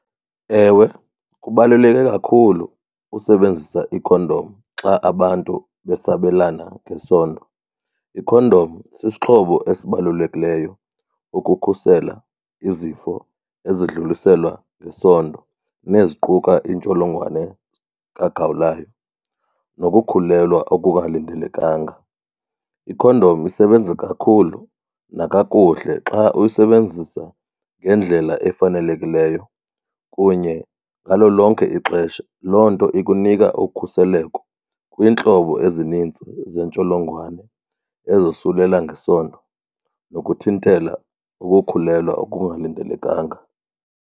Ewe kubaluleke kakhulu usebenzisa ikhondom xa abantu besabelana ngesondo. Ikhondom sisixhobo esibalulekileyo ukukhusela izifo ezidluliselwa ngesondo neziguquka intsholongwane kagawulayo nokukhulelwa okungalindelekanga. Ikhondom isebenza kakhulu nakakuhle xa uyisebenzisa ngendlela efanelekileyo kunye ngalo lonke ixesha. Loo nto ikunika ukhuseleko kwiintlobo ezinintsi zeentsholongwane ezosulela ngesondo nokuthintela ukukhulelwa okungalindelekanga.